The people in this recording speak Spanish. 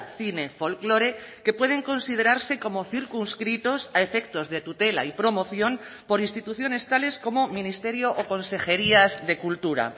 cine folklore que pueden considerarse como circunscritos a efectos de tutela y promoción por instituciones tales como ministerio o consejerías de cultura